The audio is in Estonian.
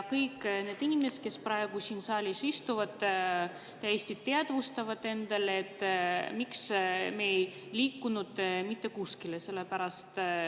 Kõik need inimesed, kes praegu siin saalis istuvad, täiesti teadvustavad endale, miks me ei ole mitte kuskile liikunud.